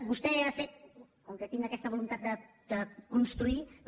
vostè ha fet com que tinc aquesta voluntat de construir però